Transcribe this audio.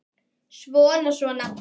Svona, svona